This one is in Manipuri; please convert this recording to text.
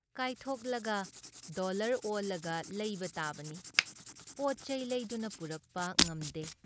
ꯀꯥꯏꯊꯣꯛꯂꯒ ꯗꯣꯜꯂꯔ ꯑꯣꯜꯂꯒ ꯂꯩꯕ ꯇꯥꯕꯅꯤ ꯄꯣꯠꯆꯩ ꯂꯩꯗꯨꯅ ꯄꯨꯔꯛꯄ ꯉꯝꯗꯦ ꯫